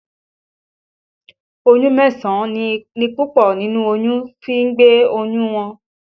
Oṣù mẹ́sàn-án ni púpọ̀ nínú olóyún fi ń gbé oyún wọn